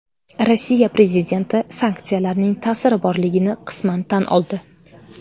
Rossiya prezidenti sanksiyalarning ta’siri borligini qisman tan oldi.